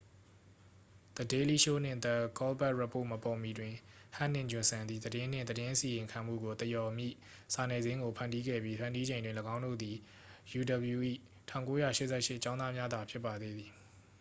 the daily show နှင့် the colbert report မပေါ်မီတွင် ဟက်နှင့် ဂျွန်ဆန်သည် သတင်းနှင့် သတင်းအစီရင်ခံမှုကို သရော်မည့် စာနယ်ဇင်းကို ဖန်တီးခဲ့ပြီး ဖန်တီးချိန်တွင် သူတို့သည် uw ၏ 1988 ကျောင်းသားများသာ ဖြစ်ပါသေးသည်